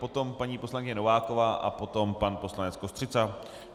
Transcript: Potom paní poslankyně Nováková a potom pan poslanec Kostřica.